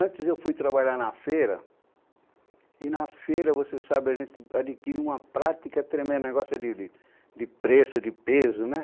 Antes eu fui trabalhar na feira, e na feira, você sabe, a gente adquire uma prática tremenda, um negócio de de de, de preço, de peso, né?